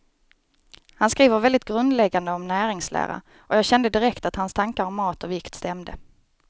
Han skriver väldigt grundläggande om näringslära, och jag kände direkt att hans tankar om mat och vikt stämde.